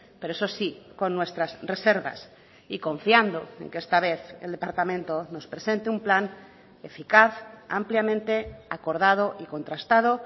pero eso sí con nuestras reservas y confiando en que esta vez el departamento nos presente un plan eficaz ampliamente acordado y contrastado